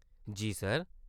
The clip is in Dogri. जी। सर।